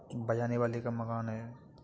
बजाने वाले का मकान है।